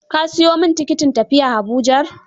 Ka siyo min tikitin tafiya Abujar?